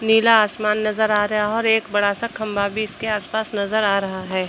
नीला आसमान नजर आ रहा है और एक बड़ा सा खम्बा भी इसके आस -पास नजर आ रहा है।